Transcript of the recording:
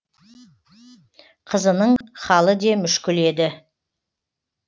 қызының халі де мүшкіл еді